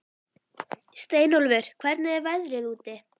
Steinólfur, hvernig er veðrið úti?